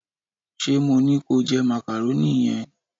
se mo ni ko je macaroni yen